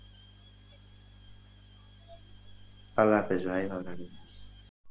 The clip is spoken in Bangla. আল্লাহহাফেজ ভাই ভালো থাকিস।